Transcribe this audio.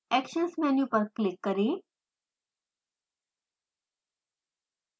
actions menu पर click करें